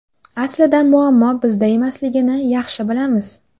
Aslida, muammo bizda emasligini yaxshi bilamiz.